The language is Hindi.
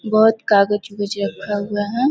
बहोत कागज-उगज रखा हुआ है।